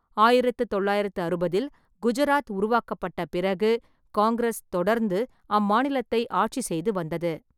ஆயிரத்து தொள்ளாயிரத்து அறுபதில் குஜராத் உருவாக்கப்பட்ட பிறகு காங்கிரஸ் தொடர்ந்து அம்மாநிலத்தை ஆட்சி செய்து வந்தது.